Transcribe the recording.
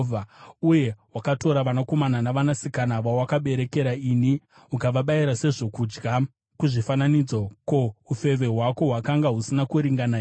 “ ‘Uye wakatora vanakomana navanasikana vawakaberekera ini ukavabayira sezvokudya kuzvifananidzo. Ko, ufeve hwako hwakanga husina kuringana here?